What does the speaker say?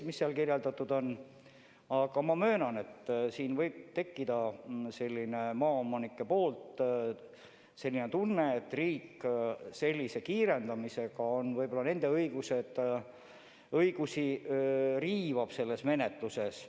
Samas ma möönan, et maaomanikel võib olla tunne, et riik sellise kiirendamisega võib-olla riivab nende õigusi selles menetluses.